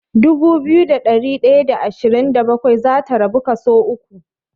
Dubu biyu da ɗari ɗaya da ashirin da bakwai zata rabu kaso uku.